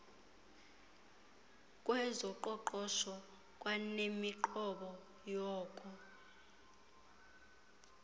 kwezoqoqosho kwanemiqobo yoko